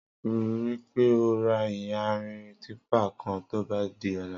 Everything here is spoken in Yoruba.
Rìpé ó rà iyànrín tìpá kán tóbà di ọ̀là